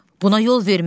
Buna yol vermərik.